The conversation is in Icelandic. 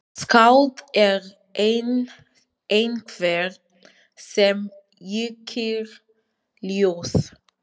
Skáld er einhver sem yrkir ljóð.